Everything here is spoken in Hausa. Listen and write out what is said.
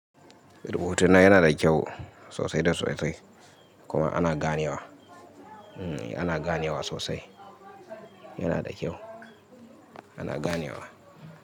Rubutu na yana da kyau sosai da sosai kuma ana gane wa, hmm ana gane wa sosai, yana da kyau ana gane wa.